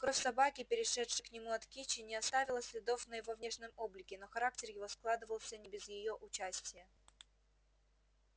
кровь собаки перешедшая к нему от кичи не оставила следов на его внешнем облике но характер его складывался не без её участия